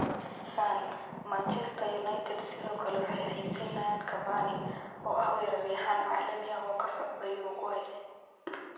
(Sun)Manchester United sidoo kale waxay xiisaynayaan Cavani, oo ah weeraryahan caalami ah oo ka socda Uruguay.